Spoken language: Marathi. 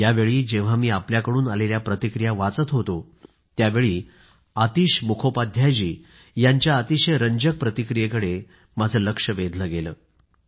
यावेळी जेव्हा मी आपल्याकडून आलेल्या प्रतिक्रिया वाचत होतो त्यावेळी आतिश मुखोपाध्याय जी यांच्या अतिशय रंजक प्रतिक्रियेकडं माझं लक्ष वेधलं गेलं